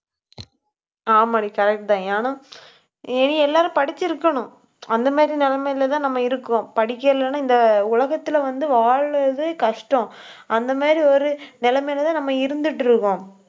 ஆமாடி correct தான் ஆனா, இனி எல்லாரும் படிச்சிருக்கணும். அந்த மாதிரி நிலைமையிலதான் நம்ம இருக்கோம். படிக்கலைன்னா இந்த உலகத்துல வந்து வாழ்றது கஷ்டம். அந்த மாதிரி, ஒரு நிலைமையிலதான் நம்ம இருந்துட்டிருக்கோம்